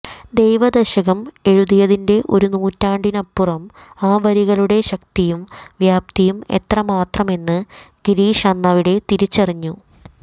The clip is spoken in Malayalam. ദൈവദശകം എഴുതിയതിന്റെ ഒരു നൂറ്റാണ്ടിനിപ്പുറവും ആ വരികളുടെ ശക്തിയും വ്യാപ്തിയും എത്രമാത്രമെന്ന് ഗിരീഷ് അന്നവിടെ തിരിച്ചറിഞ്ഞു